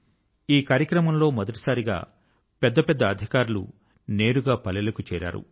ఈ కార్యక్రమం లో మొదటిసారిగా పెద్ద పెద్ద అధికారులు నేరుగా పల్లెల కు చేరారు